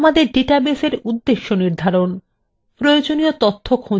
প্রয়োজনীয় তথ্য খোঁজা এবং সংগঠন